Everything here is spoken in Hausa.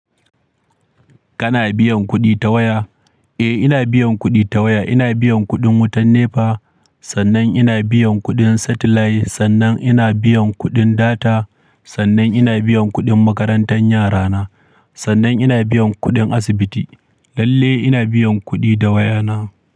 Kana biyan kuɗi ta waya? Eh, ina biyan kuɗi ta waya. Ina biyan kuɗin wutan NEPA, sannan ina biyan kuɗin satellite, sannan ina biyan kuɗin data, sannan ina biyan kuɗin makarantar yarana, sannan ina biyan kuɗin asibiti. Lalle ina biyan kuɗi da wayana.